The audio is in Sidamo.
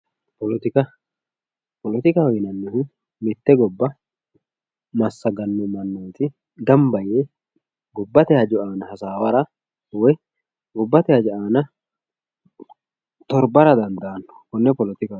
Poletika, poletikaho yineemmohu mite gobba massagano mannoti gamba yee gobbate hajo aana hasaawara woyi gobbate hajjo aana torbara dandaano konne poletikaho yinanni.